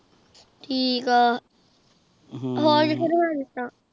ਠੀਕ ਆਹ ਹੋਰ ਨਹਾ ਲੀਤਾ